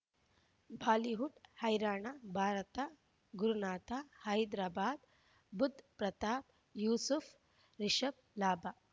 Bollywood ಹೈರಾಣ ಭಾರತ ಗುರುನಾಥ ಹೈದರಾಬಾದ್ ಬುಧ್ ಪ್ರತಾಪ್ ಯೂಸುಫ್ ರಿಷಬ್ ಲಾಭ